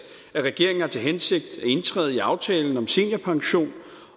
at regeringen har til hensigt at indtræde i aftalen om seniorpension